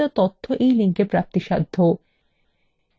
এই বিষয় বিস্তারিত তথ্য এই লিঙ্কএ প্রাপ্তিসাধ্য